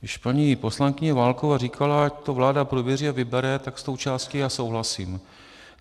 Když paní poslankyně Válková říkala, ať to vláda prověří a vybere, tak s tou částí já souhlasím.